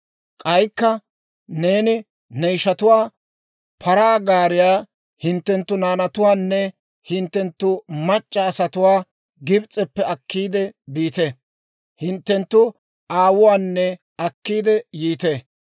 K'aykka neeni ne ishatuwaa, ‹Paraa gaariyaa hinttenttu naanatuwaanne hinttenttu mac'c'a asatuwaa ahiyaawantta Gibs'eppe akkiide biite; hinttenttu aawuwaanne akkiidde yiite.